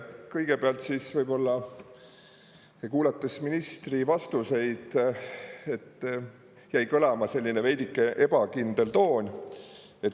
Kõigepealt võib-olla kuulates ministri vastuseid jäi kõlama selline veidike ebakindel toon.